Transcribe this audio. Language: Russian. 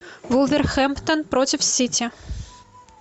вулверхэмптон против сити